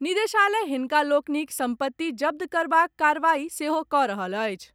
निदेशालय हिनका लोकनिक संपत्ति जब्त करबाक कार्रवाई सेहो कऽ रहल अछि।